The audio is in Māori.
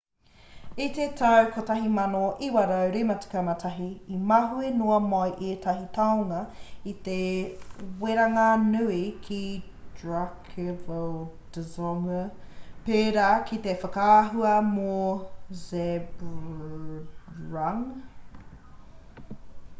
i te tau 1951 i mahue noa mai ētahi tāonga i te weranga nui ki drukgyal dzong pērā ki te whakaahua mō zhabdrung